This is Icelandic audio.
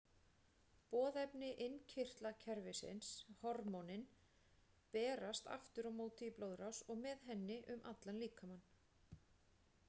Boðefni innkirtlakerfisins, hormónin, berast aftur á móti í blóðrás og með henni um allan líkamann.